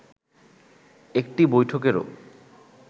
একটি বৈঠকেরও